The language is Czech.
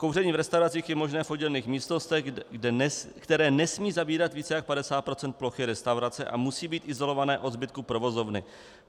Kouření v restauracích je možné v oddělených místnostech, které nesmí zabírat více než 50 % plochy restaurace a musí být izolované od zbytku provozovny.